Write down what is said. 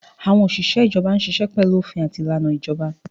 Àwọn òṣìṣẹ́ ìjọba ń ṣiṣẹ́ pẹ̀lú òfin àti ìlànà ìjọba